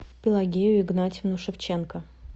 пелагею игнатьевну шевченко